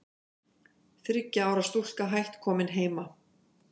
Þriggja ára stúlka hætt komin heima